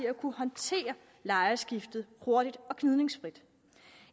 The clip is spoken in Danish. at kunne håndtere lejeskiftet hurtigt og gnidningsfrit